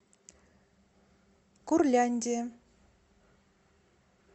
курляндия